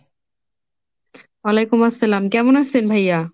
ওয়ালাইকুম আসসালাম, কেমন আছেন ভাইয়া?